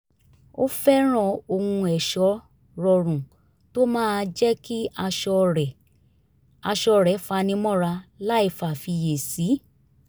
ó fẹ́ràn ohun ẹ̀ṣọ́ rọrùn tó máa jẹ́ kí aṣọ rẹ̀ aṣọ rẹ̀ fani mọ́ra láìfàfiyèsí